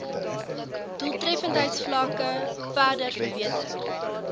doeltreffendheidsvlakke verder verbeter